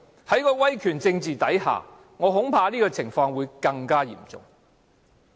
在威權政治之下，我恐怕這種情況會更為嚴重。